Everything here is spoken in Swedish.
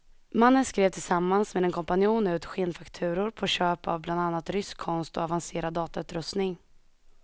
Mannen skrev tillsammans med en kompanjon ut skenfakturor på köp av bland annat rysk konst och avancerad datautrustning.